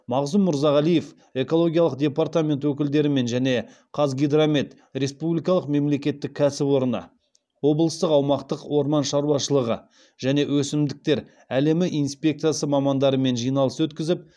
мағзұм мырзағалиев экологиялық департамент өкілдерімен және қазгидромет республикалық мемлекеттік кәсіпорны облыстық аумақтық орман шаруашылығы және өсімдіктер әлемі инспекциясы мамандарымен жиналыс өткізіп